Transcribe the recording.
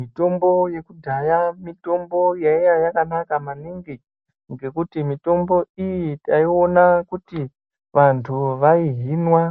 Mitombo yekudhaya mitombo yaiya yakanaka maningi ngekuti mitombo iyi taiona kuti vantu vaihinwa